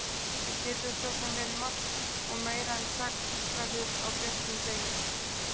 Það getur svo sem verið margt. og meira en sagt verður á björtum degi.